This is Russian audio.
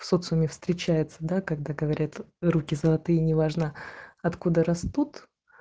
в соцуме встречаются да когда говорят руки золотые неважно откуда растут